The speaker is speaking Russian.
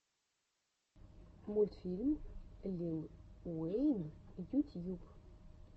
мультфильм лил уэйн ютьюб